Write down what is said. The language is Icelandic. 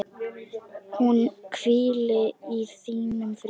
Hún hvíli í þínum friði.